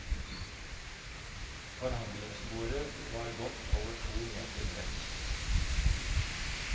Forhandlingsbordet var godt over to meter bredt.